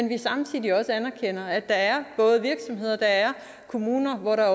vi samtidig også anerkender at der er virksomheder og der er kommuner hvor der